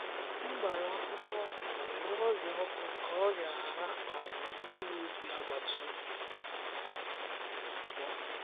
M gbara akwụkwọ okra nwere ọrịa ọkụ ka ọrịa ghara um iru ubi agbata obi m.